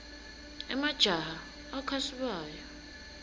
emajaha akha sibaya